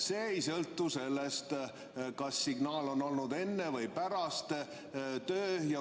See ei sõltu sellest, kas signaal oli enne või pärast.